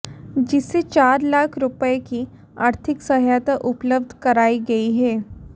जिसे चार लाख रूपये की आर्थिक सहायता उपलब्ध करायी गयी है